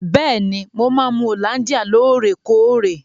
Bẹ́ẹ̀ni, mo máa ń mu hollandia lóòrèkóòrè.